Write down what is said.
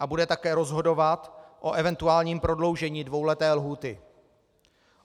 a bude také rozhodovat o eventuálním prodloužení dvouleté lhůty.